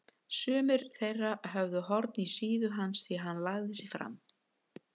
Sumir þeirra höfðu horn í síðu hans því hann lagði sig fram.